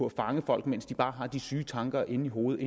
at fange folk mens de bare har disse syge tanker inde i hovedet